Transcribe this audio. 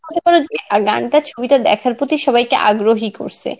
আর গান ছবিটা দেখার প্রতি সবাইকে আগ্রহী করসে.